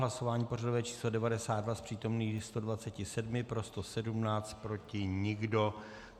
Hlasování pořadové číslo 92, z přítomných 127 pro 117, proti nikdo.